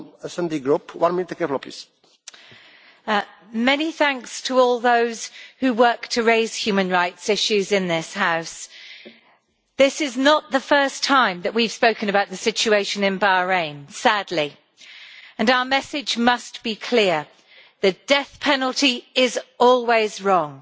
Mr President, I would like to express many thanks to all those who work to raise human rights issues in this House. This is not the first time that we have spoken about the situation in Bahrain, sadly, and our message must be clear. The death penalty is always wrong,